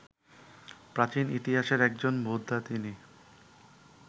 প্রাচীন ইতিহাসের একজন বোদ্ধা তিনি